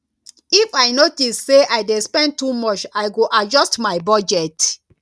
if i notice say i dey spend too much i go adjust my budget